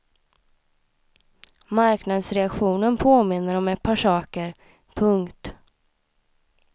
Marknadsreaktionen påminner om ett par saker. punkt